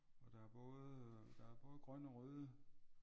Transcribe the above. Og der er både øh der er både grønne og røde